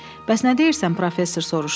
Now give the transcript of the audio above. Bəs nə deyirsən, professor soruşdu.